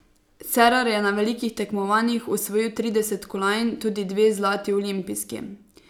Cerar je na velikih tekmovanjih osvojil trideset kolajn, tudi dve zlati olimpijski.